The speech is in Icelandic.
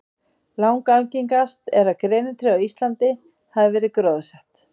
Langalgengast er að grenitré á Íslandi hafi verið gróðursett.